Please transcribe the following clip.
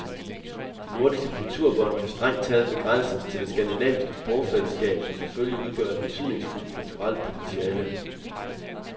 De nordiske kulturbånd kan strengt taget begrænses til det skandinaviske sprogfællesskab, som selvfølgelig udgør et betydningsfuldt kulturelt potentiale.